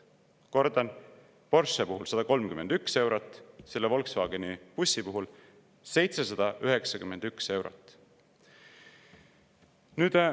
Kordan: Porsche puhul 131 eurot, selle Volkswageni bussi puhul 791 eurot.